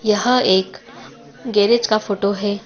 यहां एक गैरेज का फोटो है।